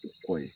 U kɔ ye